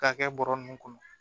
K'a kɛ bɔrɛ ninnu kɔnɔ